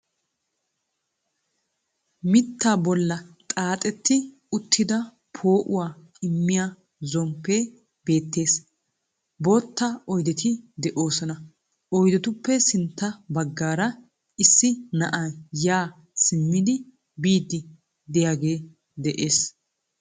Mitaa bolla xaaxxetti uttida poo"uwa immiya zomppe beettees, bootta oydeti de'oosona. Oydetuppe sintta baggaara issi na'ay yaa simmidi biidi de'iyagee de'ees.